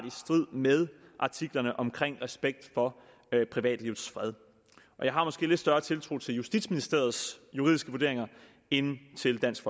i strid med artiklerne om respekt for privatlivets fred og jeg har måske lidt større tiltro til justitsministeriets juridiske vurderinger end til dansk